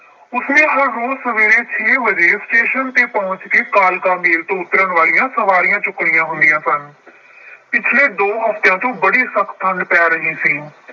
ਉਸਨੇ ਹਰ ਰੋਜ਼ ਸਵੇਰੇ ਛੇ ਵਜੇ ਸਟੇਸ਼ਨ ਤੇ ਪਹੁੰਚ ਕੇ ਕਾਲਕਾ ਮੇਲ ਤੋਂ ਉੱਤਰਨ ਵਾਲੀਆਂ ਸਵਾਰੀਆਂ ਚੁੱਕਣੀਆਂ ਹੁੰਦੀਆਂ ਸਨ। ਪਿਛਲੇ ਦੋ ਹਫਤਿਆਂ ਤੋਂ ਬੜੀ ਸਖਤ ਠੰਢ ਪੈ ਰਹੀ ਸੀ।